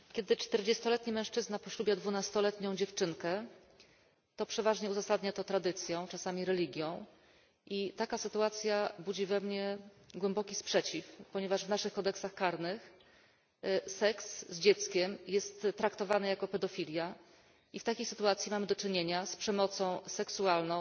Pani Przewodnicząca, Szanowni Państwo! Kiedy czterdziestoletni mężczyzna poślubia dwunastoletnią dziewczynkę, to przeważnie uzasadnia to tradycją, czasami religią i taka sytuacja budzi we mnie głęboki sprzeciw, ponieważ w naszych kodeksach karnych seks z dzieckiem jest traktowany jako pedofilia, i w takiej sytuacji mamy do czynienia z przemocą seksualną,